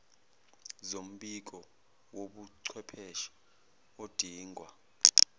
zombiko wobuchwepheshe odingwa